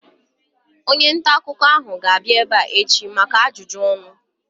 Onye ntaakụkọ ahu ga-abịa ebea echi maka ajụjụ ọnụ